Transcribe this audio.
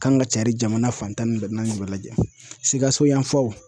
Kan ka cari jamana fan tan ni bɛɛ SIKASO yanfanw.